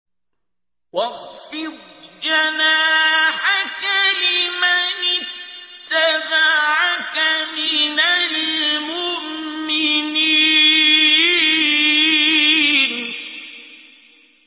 وَاخْفِضْ جَنَاحَكَ لِمَنِ اتَّبَعَكَ مِنَ الْمُؤْمِنِينَ